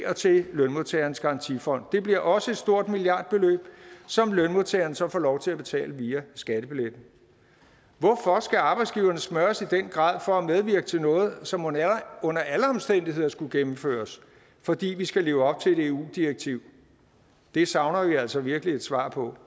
og til lønmodtagernes garantifond det bliver også et stort milliardbeløb som lønmodtagerne så får lov til at betale via skattebilletten hvorfor skal arbejdsgiverne smøres i den grad for at medvirke til noget som under alle omstændigheder skulle gennemføres fordi vi skal leve op til et eu direktiv det savner vi altså virkelig et svar på